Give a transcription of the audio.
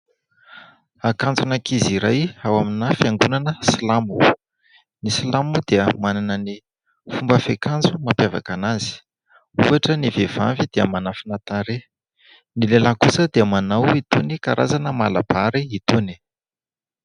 Akanjon'ankizy iray ao amina fiangonana Silamo. Ny Silamo moa dia manana ny fomba fiakanjo mampiavaka an'azy, ohatra ny vehivavy dia manafina tarehy, ny lehilahy kosa dia manao itony karazana malabary itony.